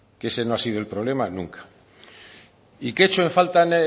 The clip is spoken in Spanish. que ese no ha sido el problema nunca y qué echo en falta en